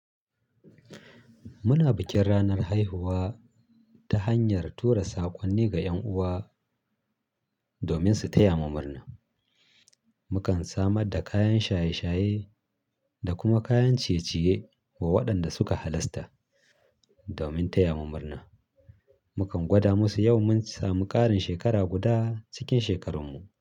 Muna bikin ranar haihuwa ta hanyar tura saƙonni ga 'yan'uwa domin su taya mu murna. Mukan samar da kayan shaye-shaye da kuma kayan ciye-ciye wa waɗanda suka halarta domin taya mu murna. Mukan gwada musu yau mun samu ƙarin shekara guda cikin shekarunmu.